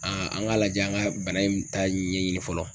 an k'a lajɛ an ka bana in ta ɲɛɲini fɔlɔ.